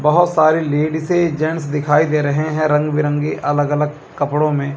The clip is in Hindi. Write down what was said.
बहोत सारी लेडिसे जेंट्स दिखाई दे रहे हैं रंग बिरंगी अलग अलग कपड़ों में--